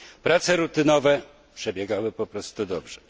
Prace rutynowe przebiegały po prostu dobrze.